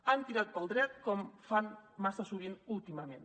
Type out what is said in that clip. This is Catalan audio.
han tirat pel dret com fan massa sovint últimament